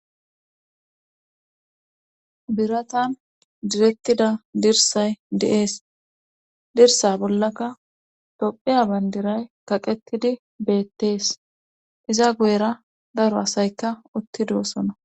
Biratan direttida dirsay de7ees dirsa bollaka tophiya bandiray kaqettidi beettees iza goyera daro asayka uttidoosona.